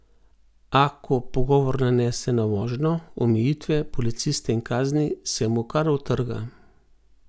A ko pogovor nanese na vožnjo, omejitve, policiste in kazni, se mu kar utrga.